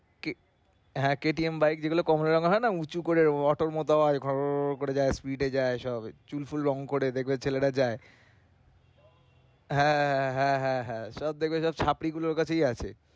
কে~ হ্যা KTM bike যেগুলা থাকেনা উঁচু করে auto র মত আওয়াজ ঘড় ঘড় করে যায় যায় চুল ফুল রঙ করে দেখবে ছেলেরা যায় হ্যাঁ হ্যাঁ হ্যাঁ হ্যাঁ হ্যাঁ হ্যাঁ সব দেখবে যে গুলোর কথাই আছে।